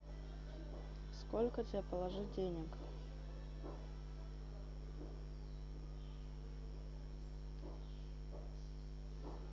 сколько тебе положить денег